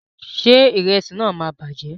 Ṣé ìrẹsì náà máa bàjẹ́?